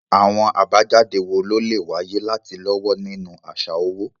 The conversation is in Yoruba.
Àwọn àbájáde wo ló lè wáyé láti lọ́wọ́ nínú àṣà owó?